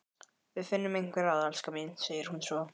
Við finnum einhver ráð, elskan mín, segir hún svo.